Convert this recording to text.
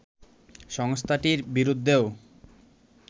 সংস্থাটির বিরুদ্ধেও